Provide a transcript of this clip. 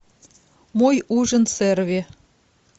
мой ужин с эрве